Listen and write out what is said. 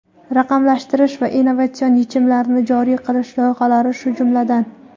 raqamlashtirish va innovatsion yechimlarni joriy qilish loyihalari shular jumlasidan.